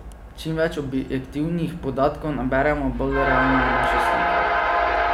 Čim več objektivnih podatkov naberemo, bolj realna je naša slika.